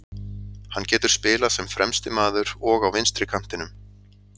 Hann getur spilað sem fremsti maður og á vinstri kantinum.